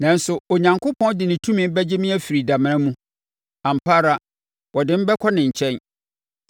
Nanso, Onyankopɔn de ne tumi bɛgye me afiri damena mu; ampa ara, ɔde me bɛkɔ ne nkyɛn.